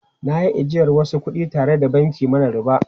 Na yi ajiyar wasu kudi tare da banki mara riba.